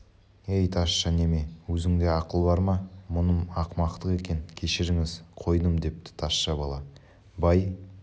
ей тазша неме өзіңде ақыл бар ма мұным ақымақтық екен кешіріңіз қойдым депті тазша бала бай